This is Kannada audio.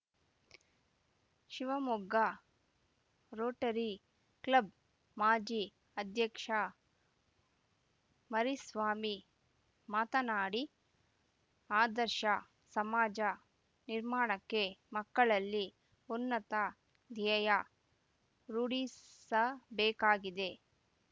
ಶಿವಮೊಗ್ಗ ರೋಟರಿ ಕ್ಲಬ್‌ ಮಾಜಿ ಅಧ್ಯಕ್ಷ ಮರಿಸ್ವಾಮಿ ಮಾತನಾಡಿ ಆದರ್ಶ ಸಮಾಜ ನಿರ್ಮಾಣಕ್ಕೆ ಮಕ್ಕಳಲ್ಲಿ ಉನ್ನತ ದ್ಯೇಯ ರೂಢಿಸಬೇಕಾಗಿದೆ